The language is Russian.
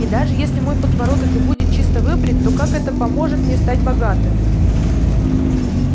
и даже если мой подбородок и будет чисто выбрит то как это поможет мне стать богатым